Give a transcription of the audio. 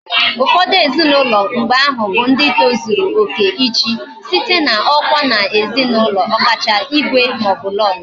Ufodu ezinaulo mgbe ahu bu ndi tozuru oke ichi, site na okwa na ezi na ulo, okacha igwe ma o bu Lolo